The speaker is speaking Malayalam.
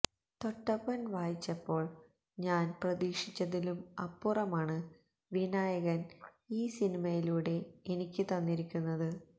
തൊട്ടപ്പൻ വായിച്ചപ്പോൾ ഞാൻ പ്രതീക്ഷിച്ചതിലും അപ്പുറമാണ് വിനായകൻ ഈ സിനിമയിലൂടെ എനിക്ക് തന്നിരിക്കുന്നത്